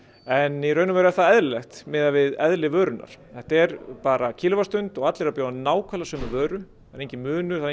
en í raun og veru er það eðlilegt miðað við eðli vörunnar þetta er bara kílóvattsstund og allir að bjóða nákvæmlega sömu vöru það er enginn munur það